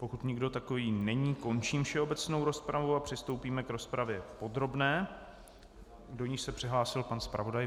Pokud nikdo takový není, končím všeobecnou rozpravu a přistoupíme k rozpravě podrobné, do níž se přihlásil pan zpravodaj.